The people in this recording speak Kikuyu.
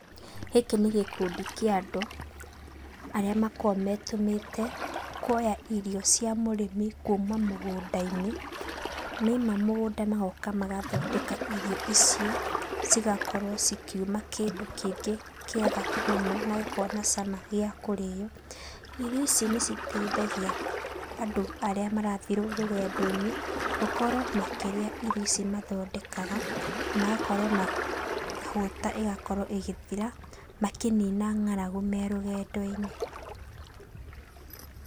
Gĩkĩ nĩ gĩkundi kĩa andũ arĩa makoragwo metũmĩte, kuoya irio cia mũrĩmi kuma mũgũndainĩ, maima mũgũnda magoka magathondeka irio icio, cigakorwo cikiuma kĩndũ kĩngĩ kĩega mũno na gĩkoragwo na cama gĩa kũrĩa. Irio ici nĩciteithagia andũ arĩa marathiĩ rũgendoinĩ gũkorwo makĩrĩa irio ici mathondekaga, magakorwo makĩhũta ĩgakorwo ĩgĩthira, makĩnina ng'aragu me rũgendoinĩ.